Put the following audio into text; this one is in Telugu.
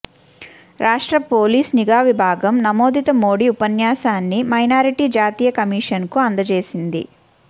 రాష్ట్ర పోలీసు నిఘావిభాగం నమోదిత మోడీ ఉపన్యాసాన్ని మైనారిటీ జాతీయ కమిషన్ కు అందజేసింది